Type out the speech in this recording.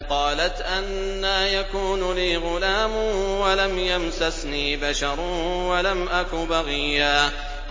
قَالَتْ أَنَّىٰ يَكُونُ لِي غُلَامٌ وَلَمْ يَمْسَسْنِي بَشَرٌ وَلَمْ أَكُ بَغِيًّا